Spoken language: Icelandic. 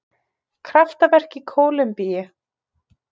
Kraftaverk í Kólumbíu